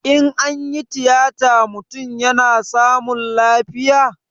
In anyi tiyata mutum yana samun lafiya?